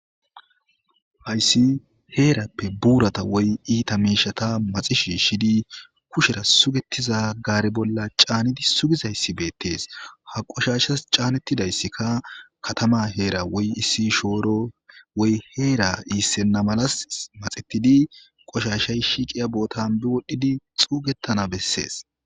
hayssi heerappe buurata woy iita meishata maxishi shidi kushera sugetiza gaare bolla caanidi sugizayssi beettees ha qoshashas caanettidayssika katama heera woy issi shooro woy heera iissenna malas maxettidi qoshashay shiiqiya bootan bi wodhdhidi xuugettana bessees